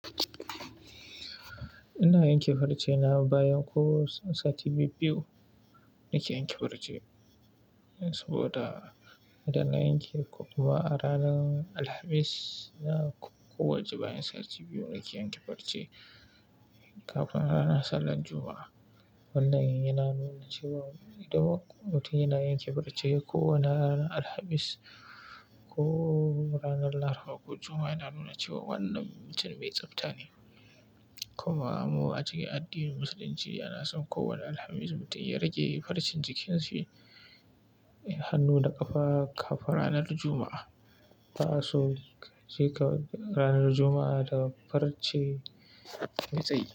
Ina yanke farce na bayan ko sati biyu-biyu nake yanke farce, saboda idan na yanke kuma a ranar Alhamis, na kowace bayan sati biyu nake yanke farce kafin ranar sallar Juma'a. Wannan yana nuna cewa idan mutum yana yanke farce ko a ranar Alhamis ko ranar Lahadi ko Juma'a, yana nuna cewa wannan mutum mai tsafta ne. Kuma mu a cikin addinin Musulunci ana so kowane Alhamis mutum ya rage farcen jikinshi, hannu da ƙafa ƙafun ranar Juma'a. Ba'aso sai ka ranar Juma'a da farce mai tsayi.